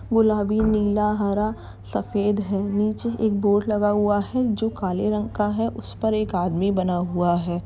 गुलाबी नीला हरा सफेद है। नीचे एक बोर्ड लगा हुआ है जो काले रंग का है। उस पर एक आदमी बना हुआ है।